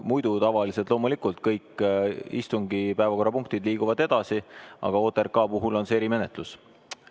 Muidu tavaliselt liiguvad loomulikult kõik istungi päevakorrapunktid edasi, aga OTRK puhul on erimenetlus.